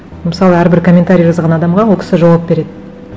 мысалы әрбір комментарий жазған адамға ол кісі жауап береді